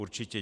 Určitě.